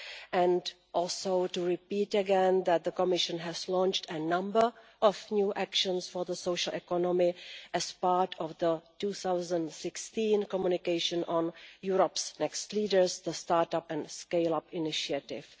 and I also repeat again that the Commission has launched a number of new actions for the social economy as part of the 2016 communication on Europe's next leaders the Startup and Scaleup Initiative'.